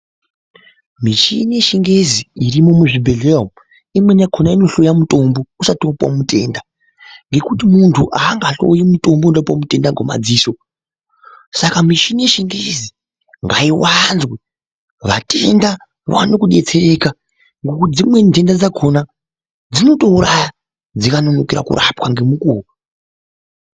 Michini yechingezi irimu muzvibhedhleya umu imweni yakona inohloya mutombo usati vapuva mutenda. Ngekuti muntu hangahloi mutombo uruda kupuva mutenda ngemadziso. Saka michini yechingezi ngaivanzwe vatenda vaone kubetsereka nekuti dzimweni ntenda dzakona dzinotouraya dzikanonokera kurapwa ngemukuvo.